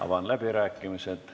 Avan läbirääkimised.